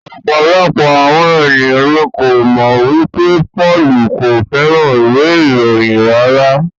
Ọ̀pọ̀lọpọ̀ àwọn ènìyàn ní ko mọ wipe Pọ́lù ko fẹràn ìwé ìròyìn rárá.